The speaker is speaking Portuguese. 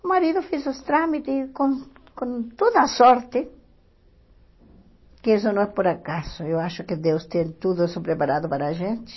O marido fez os trâmites com com toda a sorte, que isso não é por acaso, eu acho que Deus tem tudo isso preparado para a gente.